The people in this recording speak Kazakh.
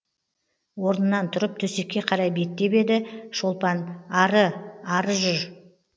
орнынан тұрып төсекке қарай беттеп еді шолпан ары ары жүр